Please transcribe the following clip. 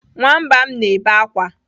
Nwamba m na-ebe akwa.